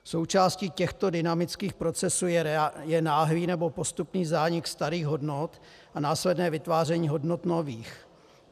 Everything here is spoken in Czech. Součástí těchto dynamických procesů je náhlý nebo postupný zánik starých hodnot a následné vytváření hodnot nových.